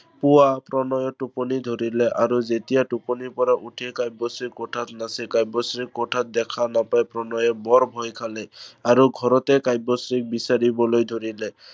পুৱা প্ৰণয়ৰ টোপনি ধৰিলে। আৰু যেতিয়া টোপনিৰ পৰা উঠিল কাব্যশ্ৰী কোঠাত নাছিল। কাব্যশ্ৰীক কোঠাত দেখা নাপায় প্ৰণয়ে বৰ ভয় খালে আৰু ঘৰতে কাব্যশ্ৰীক বিচাৰিবলৈ ধৰিলে।